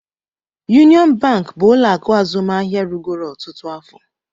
Union bank bụ ụlọ akụ azụmahịa rugoro ọtụtụ afọ